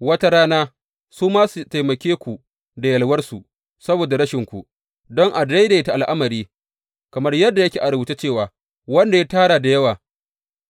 Wata rana su ma su taimake ku da yalwarsu saboda rashinku, don a daidaita al’amari, kamar yadda yake a rubuce cewa, Wanda ya tara da yawa,